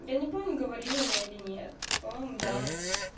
я не помню говорила я или нет по-моему да